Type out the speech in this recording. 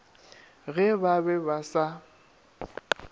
ge ba be ba sa